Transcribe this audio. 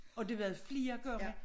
Og det var det flere gange